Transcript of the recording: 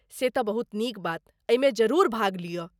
से तऽ बहुत नीक बात, एहिमे जरूर भाग लिअ।